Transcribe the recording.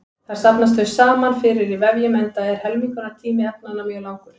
Þar safnast þau smám saman fyrir í vefjum enda er helmingunartími efnanna mjög langur.